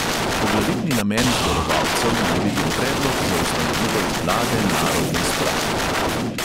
Poglavitni namen zborovalcev naj bi bil predlog za ustanovitev vlade narodne sprave.